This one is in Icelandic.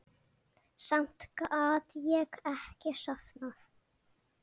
Samt gat ég ekki sofnað.